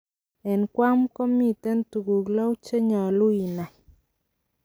En Guam gomiten tuguu lou chenyolu inai.